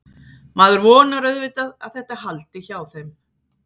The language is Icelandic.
Maður vonar auðvitað að þetta haldi hjá þeim.